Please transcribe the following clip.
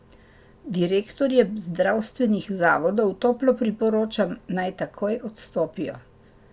Direktorjem zdravstvenih zavodov toplo priporočam, naj takoj odstopijo.